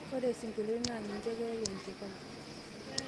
ore isingolioni naa ninche keyau enchapai